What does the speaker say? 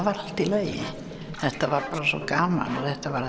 var allt í lagi þetta var bara svo gaman og þetta var